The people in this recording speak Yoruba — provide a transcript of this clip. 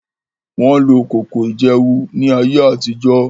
Won lo koko iyewu ni aye atijo.